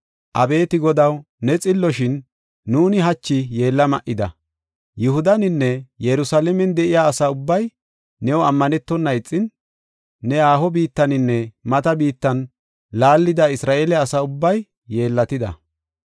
“Abeeti Godaw, ne xillo; shin nuuni hachi yeella ma7ida. Yihudaninne Yerusalaamen de7iya asa ubbay new ammanetona ixin, ne haaho biittaninne mata biittan laallida Isra7eele asa ubbay yeellatida.